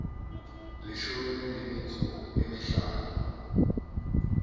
leshome le metso e mehlano